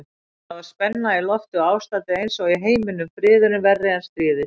Það var spenna í lofti og ástandið einsog í heiminum, friðurinn verri en stríðið.